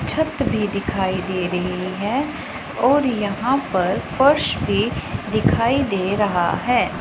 छत भी दिखाई दे रही है और यहां पर फर्श भी दिखाई दे रहा है।